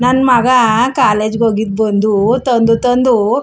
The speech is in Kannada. ನನ್ನ ಮಗ ಕಾಲೇಜ್ ಹೋಗಿ ಬಂದು ತಂದು ತಂದು.